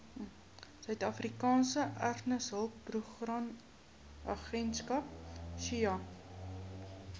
suidafrikaanse erfenishulpbronagentskap saeha